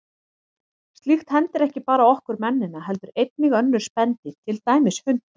Slíkt hendir ekki bara okkur mennina heldur einnig önnur spendýr, til dæmis hunda.